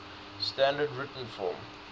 standard written form